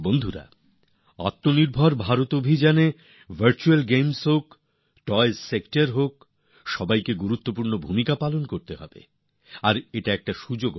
বন্ধুরা আত্মনির্ভর ভারত অভিযানে virtual games হোক টয়স হোক সেক্টর হোক সবাই খুব গুরুত্বপূর্ণ ভূমিকা পালন করেন আর এটা একটা সুযোগও